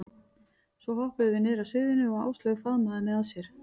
Svo hoppuðum við niður af sviðinu og Áslaug faðmaði mig að sér.